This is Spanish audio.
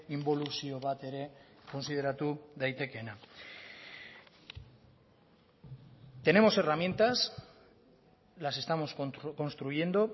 inboluzio bat ere kontsideratu daitekeena tenemos herramientas las estamos construyendo